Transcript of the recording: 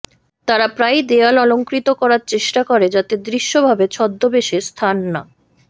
তারা প্রায়ই দেয়াল অলঙ্কৃত করার চেষ্টা করে যাতে দৃশ্যভাবে ছদ্মবেশে স্থান না